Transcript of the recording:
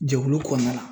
Jɛkulu kɔnɔna na